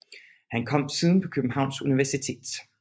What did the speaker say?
Han kom siden på Københavns Universitet